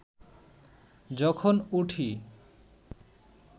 যখন উঠি